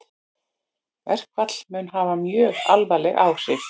Verkfall mun hafa mjög alvarleg áhrif